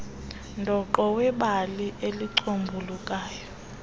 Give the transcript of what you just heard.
dooqo webali elicombulukayo